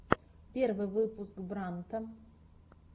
первый выпуск брандта